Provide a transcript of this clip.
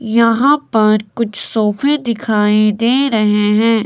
यहां पर कुछ सोफे दिखाई दे रहे हैं।